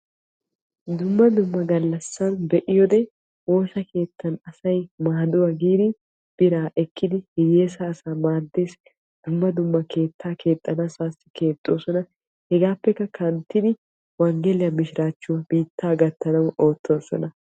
Dumma dumma galassan be'iyoode woosa keettan asay biraa ehiiddi hiyessa asaa maades keetta keexxiddi hegaappe kanttiddi wonggella biitta gatanawu oottosonna.